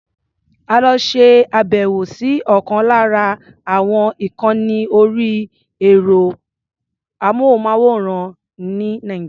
A lọ ṣe àbẹ̀wò sí ọ̀kan lára àwọn ìkànni orí ẹ̀rọ-amóhùnmáwòrán ní Nàìjíríà.